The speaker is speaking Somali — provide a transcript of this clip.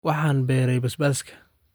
Waxaan beeray basbaaska